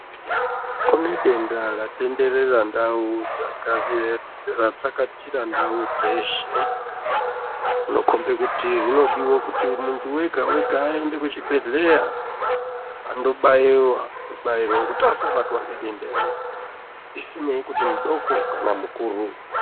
Kune denda ratenderera ndau ratsakatira ndau dzeshe rinokombe kuti rinodiwe kuti munthu wega wega aende kuchibhedhleya andobaiwa, kubairwa kuti asabatwa ngedenda iri zvisinei nekuti mudoko kana mukuru.